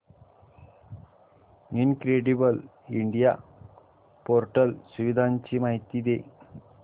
incredible India portal सुविधांची माहिती दे